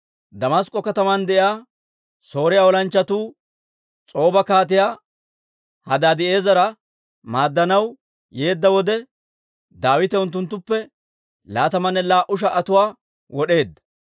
Damask'k'o kataman de'iyaa Sooriyaa olanchchatuu S'ooba Kaatiyaa Hadaadi'eezera maaddanaw yeedda wode, Daawite unttuttuppe laatamanne laa"u sha"atuwaa wod'eedda.